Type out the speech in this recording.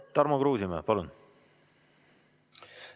Tarmo Kruusimäe, palun!